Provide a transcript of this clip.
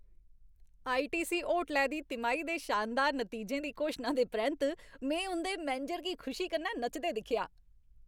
ITC होटलै दे तिमाही दे शानदार नतीजें दी घोशना दे परैंत्त में उं'दे मैनेजर गी खुशी कन्नै नचदे दिक्खेआ।